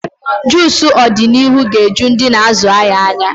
Juucu ọdịnihu ga-eju ndị na-azụ ahịa anya.